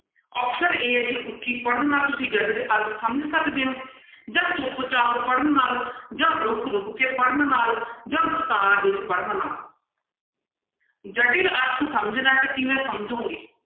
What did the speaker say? Option a ਹੈ ਜੀ ਉੱਚੀ ਪੜ੍ਹਨ ਨਾਲ ਤੁਸੀਂ ਜਟਿਲ ਅਰਥ ਸਮਝ ਸਕਦੇ ਹੋ ਜਾਂ ਚੁੱਪ ਚਾਪ ਪੜ੍ਹਨ ਨਾਲ ਜਾਂ ਰੁੱਕ ਰੁੱਕ ਕੇ ਪੜ੍ਹਨ ਨਾਲ ਜਾਂ ਵਿਸਥਾਰ ਵਿੱਚ ਪੜ੍ਹਨ ਨਾਲ ਜਟਿਲ ਅਰਥ ਸਮਝਣਾ ਹੈ ਤਾਂ ਕਿਵੇਂ ਸਮਝੋਗੇ?